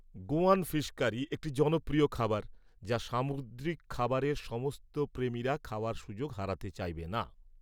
Goan fish curry একটি জনপ্রিয় খাবার যা সামুদ্রিক খাবারের সমস্ত প্রেমীরা খাওয়ার সুযোগ হারাতে চাইবেন না।